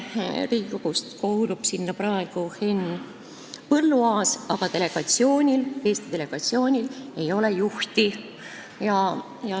Riigikogust kuulub sinna praegu Henn Põlluaas, aga Eesti delegatsioonil ei ole juhti.